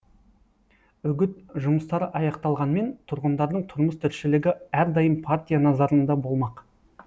үгіт жұмыстары аяқталғанмен тұрғындардың тұрмыс тіршілігі әрдайым партия назарында болмақ